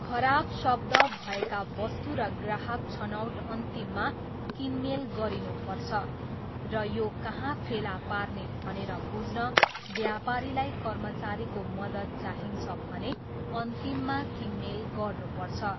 खराब शब्द भएका वस्तु र ग्राहक छनौट अन्तिममा किनमेल गरिनु पर्छ, र यो कहाँ फेला पार्ने भनेर बुझ्न व्यापारीलाई कर्मचारीको मद्दत चाहिन्छ भने अन्तिममा किनमेल गर्नुपर्छ।